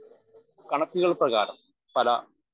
speaker 1 കണക്കുകൾ പ്രകാരം പല